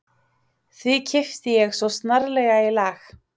Því kippti ég svo snarlega í lag